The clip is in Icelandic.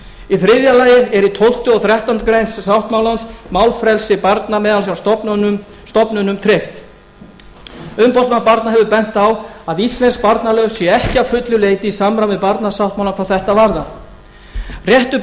í þriðja lagi eru í tólfta og þrettándu greinar sáttmálans málfrelsi barna hjá stofnunum tryggt umboðsmaður barna hefur bent á að íslensk barnalög séu ekki að fullu leyti í samræmi við barnasáttmála hvað þetta varðar réttur